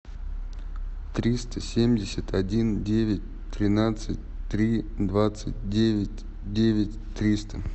триста семьдесят один девять тринадцать три двадцать девять девять триста